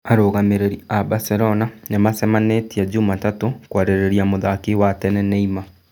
Arũgamĩrĩri a Baselona nĩmaracemanĩtie Jumatatũ kũarĩrĩria mũthaki wa tene Neema.